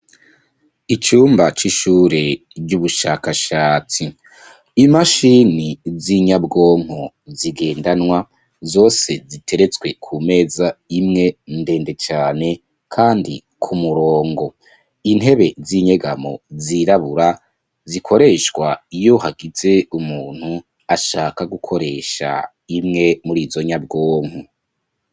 Icumba c'ishure ry'ubushakashatsi imashini z'inyabwonko zigendanwa zose ziteretswe ku meza imwe ndende cane, kandi ku murongo intebe z'inyegamo zirabura zikoreshwa iyo hagizee umuntu ashaka gukoresha imwe muri izo nyabwonko.